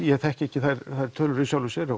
ég þekki ekki þær tölur í sjálfu sér